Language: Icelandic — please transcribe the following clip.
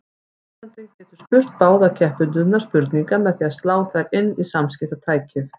Notandinn getur spurt báða keppendurna spurninga með því að slá þær inn í samskiptatækið.